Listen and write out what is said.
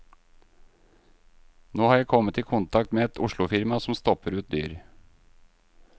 Nå har jeg kommet i kontakt med et oslofirma som stopper ut dyr.